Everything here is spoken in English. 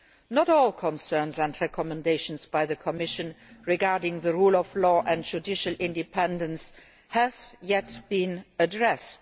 Not all concerns and recommendations by the Commission regarding the rule of law and judicial independence have been addressed.